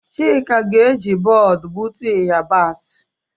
Chika ga-eji bọọdụ gbutu yabasị.